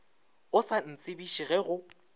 o sa ntsebiše ge go